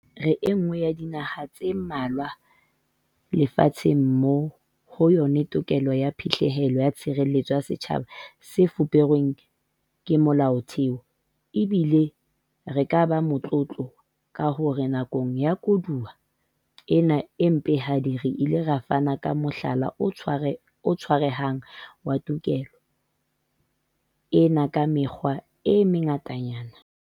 Re enngwe ya dinaha tse mmalwa lefa tsheng moo ho yona tokelo ya phihlello ya tshireletso ya setjhaba e fuperweng ke Molaotheo, ebile re ka ba motlotlo ka hore nakong ya koduwa ena e mpehadi re ile ra fana ka mohlala o tshwarehang wa tokelo ena ka mekgwa e mengatanyana.